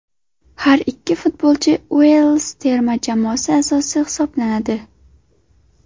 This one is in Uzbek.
Har ikki futbolchi Uels terma jamoasi a’zosi hisoblanadi.